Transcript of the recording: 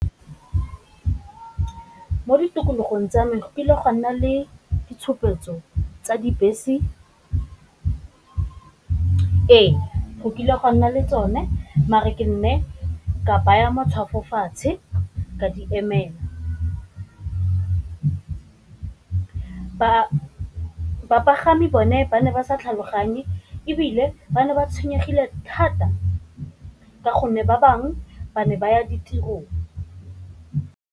Mo ditikologong tsa me go kile gwa nna le ditshupetso tsa dibese, ee go kile a gwa nna le tsone mare ke ne ka baya matshwafo fatshe ka di emela, bapagami bone ba ne ba sa tlhaloganye ebile ba ne ba tshwenyegile thata ka gonne ba bangwe ba ne ba ya ditirong.